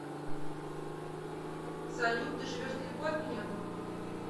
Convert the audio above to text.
салют ты живешь далеко от меня